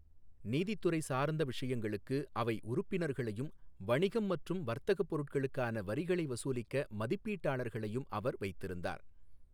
நீதித் துறை சார்ந்த விஷயங்களுக்கு அவை உறுப்பினர்களையும் வணிகம் மற்றும் வர்த்தகப் பொருட்களுக்கான வரிகளை வசூலிக்க மதிப்பீட்டாளர்களையும் அவர் வைத்திருந்தார்.